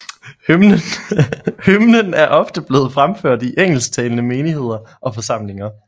Hymnen er ofte blevet fremført i engelsktalende menigheder og forsamlinger